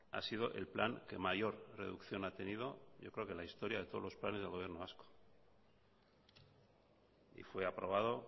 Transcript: ha sido el plan que mayor reducción ha tenido yo creo que en la historia de todos los planes del gobierno vasco y fue aprobado